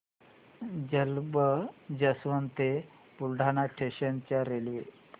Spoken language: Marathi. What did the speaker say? जलंब जंक्शन ते बुलढाणा स्टेशन च्या रेल्वे